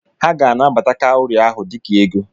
Ha ga-anabata kawụri ahụ dịka ego.